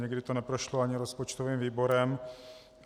Někdy to neprošlo ani rozpočtovým výborem.